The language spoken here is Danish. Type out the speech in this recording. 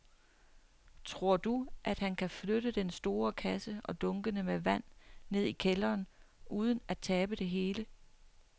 Tror du, at han kan flytte den store kasse og dunkene med vand ned i kælderen uden at tabe det hele?